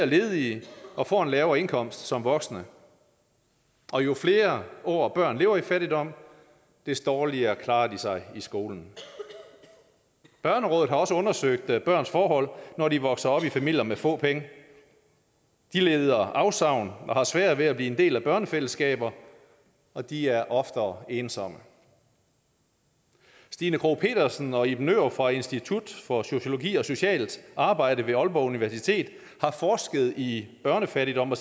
ledige og får en lavere indkomst som voksne og jo flere år børn lever i fattigdom des dårlige klarer de sig i skolen børnerådet har også undersøgt børns forhold når de vokser op i familier med få penge de lider afsavn og har svært ved at blive en del af børnefællesskaber og de er oftere ensomme stina krogh petersen og iben nørup fra institut for sociologi og socialt arbejde på aalborg universitet har forsket i børnefattigdom og